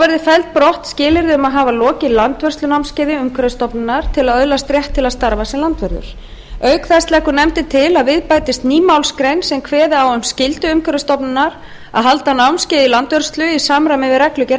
verði seld brott skilyrði um að hafa lokið landvörslunámskeiði umhverfisstofnunar til að öðlast rétt til að starfa sem landvörður auk þess leggur nefndin til að við bætist ný málsgrein sem kveði á um skyldu umhverfisstofnunar að halda námskeið í landvörslu í landvörslu í samræmi við reglugerð